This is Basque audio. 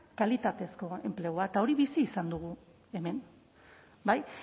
kalitatezko enplegua eta hori bizi izan dugu hemen bai